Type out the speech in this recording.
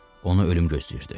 Onu ölüm gözləyirdi.